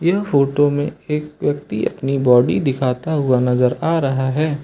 यह फोटो में एक व्यक्ति अपनी बॉडी दिखाता हुआ नजर आ रहा है।